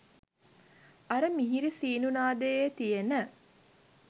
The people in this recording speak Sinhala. අර මිහිරි සීනු නාදයේ තියෙන